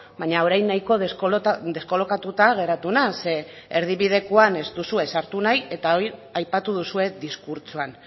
baina orain guztiz deskolokatuta geratu naiz zeren erdibidekoan ez duzue sartu nahi eta hori aipatu duzue diskurtsoan